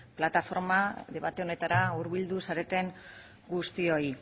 plataforma debate honetara hurbildu zareten guztioi